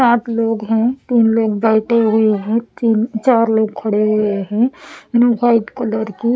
सात लोग हैं तीन लोग बैठे हुए हैं तीन चार लोग खड़े हुए हैं वाइट कलर के--